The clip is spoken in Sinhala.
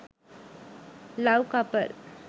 love couple